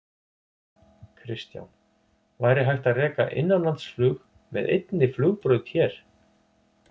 Kristján: Væri hægt að reka innanlandsflug með einni flugbraut hér?